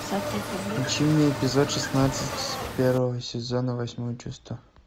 включи мне эпизод шестнадцать первого сезона восьмое чувство